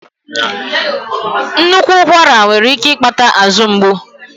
Nnukwu ụkwara nwere ike ịkpata azụ ngbu.